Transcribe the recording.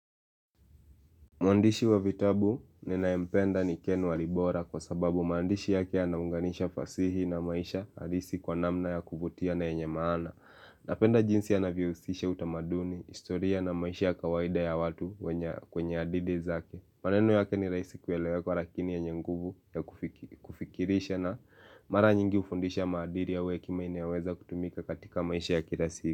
Mwandishi wa vitabu ninayempenda ni Ken Walibora kwa sababu maandishi yake yanaunganisha fasihi na maisha halisi kwa namna ya kuvutia na yenye maana. Napenda jinsi anavyohusisha utamaduni, historia na maisha kawaida ya watu kwenye hadhidi zake. Maneno yake ni rahisi kuelewekwa lakini yenye nguvu ya kufikirisha na mara nyingi hufundisha maadili ua hekima inaoweza kutumika katika maisha ya kila siku.